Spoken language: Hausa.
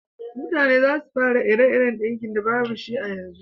Mutane za su fara ire-iren dinki da babu shi a yanzu